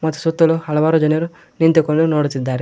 ಸುತ್ತಲು ಹಳವಾರು ಜನರು ನಿಂತುಕೊಂಡು ನೋಡುತ್ತಿದ್ದಾರೆ.